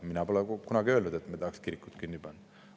Mina pole kunagi öelnud, et me tahaksime kirikut kinni panna.